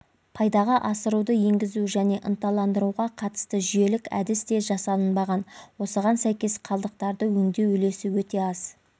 пайдаға асыруды енгізу және ынталандыруға қатысты жүйелік әдіс те жасалынбаған осыған сәйкес қалдықтарды өңдеу үлесі өте аз